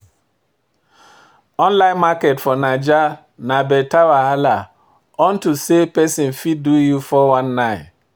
Online market for Naija na better wahala, unto say pesin fit do you 419.